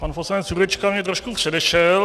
Pan poslanec Jurečka mě trošku předešel.